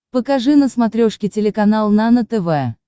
покажи на смотрешке телеканал нано тв